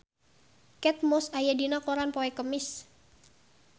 Kate Moss aya dina koran poe Kemis